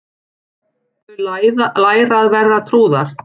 Þau læra að vera trúðar